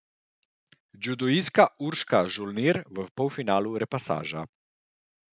Judoistka Urška Žolnir v finalu repasaža.